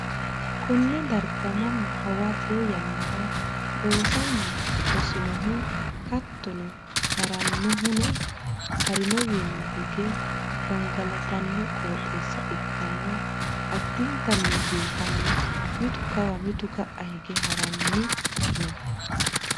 konne darga mannu hawarroo yannara loosanni hosinohu hattono hari'nohuno harinowiinni hige gangalatanno qooxeessa ikkanna, addintanni biifannoho, mitu kawa mitu ka'a hige ha'ranni no.